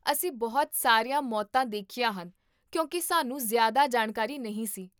ਅਸੀਂ ਬਹੁਤ ਸਾਰੀਆਂ ਮੌਤਾਂ ਦੇਖੀਆਂ ਹਨ ਕਿਉਂਕਿ ਸਾਨੂੰ ਜ਼ਿਆਦਾ ਜਾਣਕਾਰੀ ਨਹੀਂ ਸੀ